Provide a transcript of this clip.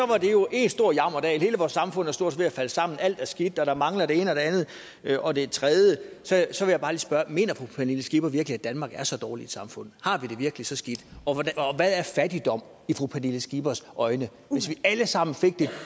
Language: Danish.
var det jo en stor jammerdal hele vores samfund er stort set ved at falde sammen alt er skidt og der mangler det ene og det andet og det tredje mener fru pernille skipper virkelig at danmark er så dårligt et samfund har vi det virkelig så skidt og hvad er fattigdom i fru pernille skippers øjne hvis vi alle sammen